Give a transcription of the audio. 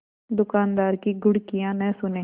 दुकानदार की घुड़कियाँ न सुने